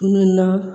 Na